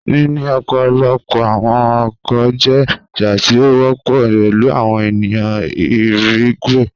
Nini ọpọlọpọ awọn ọkọ jẹ aṣa ti o wọpọ pẹlu awọn eniyan irigwe.